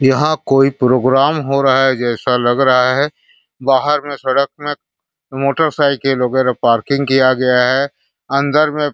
यहाँ प्रोग्राम हो रहा है जैसा लग रहा है बाहर मे सड़क मे मोटरसाइकिल वगैरा पार्किंग किया गया है अंदर में --